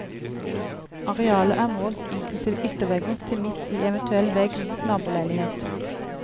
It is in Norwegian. Arealet er målt inklusive yttervegger til midt i eventuell vegg mot naboleilighet.